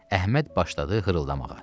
Əhməd başladı hırıldamağa.